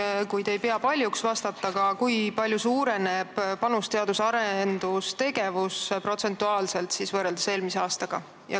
Ja vahest ei pea te paljuks vastata ka, kui palju suureneb panus teadus-arendustegevusse protsentuaalselt võrreldes eelmise aastaga.